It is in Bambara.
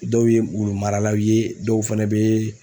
Dɔw ye wulu maralaw ye dɔw fɛnɛ bɛ